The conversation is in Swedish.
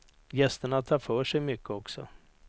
Gästerna tar för sig mycket också.